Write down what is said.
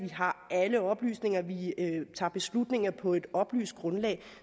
har alle oplysninger at vi tager beslutninger på et oplyst grundlag